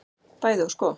Bæði og sko.